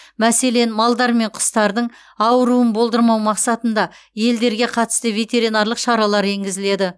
мәселен малдар мен құстардың ауыруын болдырмау мақсатында елдерге қатысты ветеринарлық шаралар енгізіледі